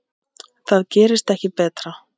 Það gerist ekki betra.